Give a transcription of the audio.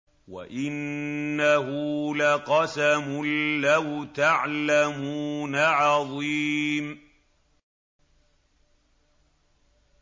وَإِنَّهُ لَقَسَمٌ لَّوْ تَعْلَمُونَ عَظِيمٌ